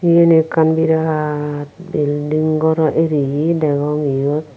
yan ekkan birat belding goro eriye degong yot.